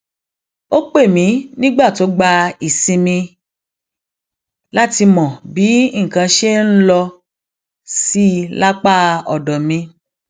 ó pè mí nígbà tó gba ìsinmi láti mọ bí nǹkan ṣe ń lọ sí lápá òdò mi